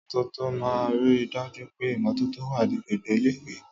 Àwọn olóyè ìmọ́tótó máa ń rí i dájú pé ìmọ́tótó wà ní gbogbo ilé-ìwé.